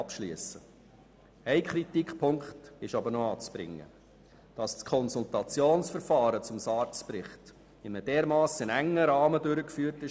Es ist unverständlich, dass das Konsultationsverfahren zum SARZ-Bericht in einem derart engen Rahmen durchgeführt wurde.